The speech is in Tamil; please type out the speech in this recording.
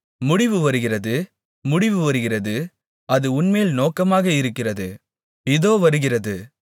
முடிவு வருகிறது முடிவு வருகிறது அது உன்மேல் நோக்கமாக இருக்கிறது இதோ வருகிறது